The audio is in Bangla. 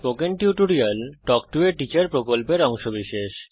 spoken tutorial talk to a teacher প্রকল্পের অংশবিশেষ